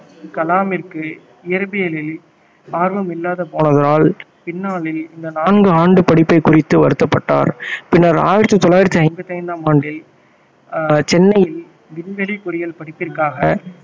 கலாமிற்கு இயற்பியலில் ஆர்வம் இல்லாது போனதால் பின்னாளில் இந்த நான்கு ஆண்டு படிப்பைக் குறித்து வருத்தப்பட்டார் பின்னர் ஆயிரத்தி தொள்ளாயிரத்தி ஐம்பத்து ஐந்தாம் ஆண்டில் அஹ் சென்னையில் விண்வெளி பொறியியல் படிப்பிற்காக